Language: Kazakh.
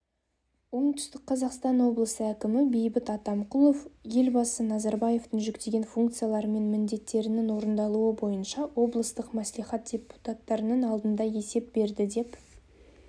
оңтүстік қазақстан облысы әкімі бейбіт атамқұлов елбасы назарбаевтың жүктеген функциялары мен міндеттерінің орындалуы бойынша облыстық мәслихат депутаттарының алдында есеп берді деп